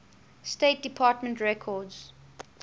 state department records